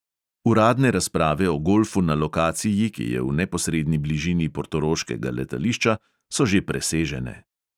Uradne razprave o golfu na lokaciji, ki je v neposredni bližini portoroškega letališča, so že presežene.